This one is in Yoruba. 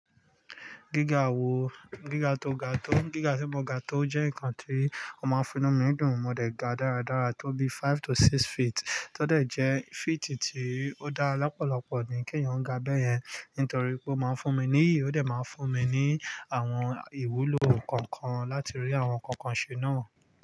Gíga wo, gíga tó ga tó, gíga tí mo ga tó jẹ́ ǹkan tí ó má ń fún inu mí dùn, mo dẹ̀ ga dáradára tó bí five to six feet, tó dẹ̀ jẹ́ feet tí ó dá lọ́pọ̀lọpọ̀ ni kí èyàn ga bẹ́yẹn, nítorí pé ó máa ń fún mi níyi, ó dẹ̀ máa ń fún mi ní àwọn ìwúlò kọ̀ọ̀kan láti rí àwọn kọ̀ọ̀kan ṣe náà.